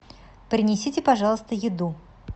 принесите пожалуйста еду